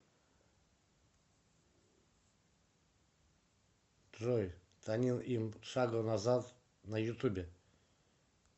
джой танир ни шагу назад на ютубе